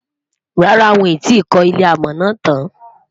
rárá, wón tí kò ilé amò nà tán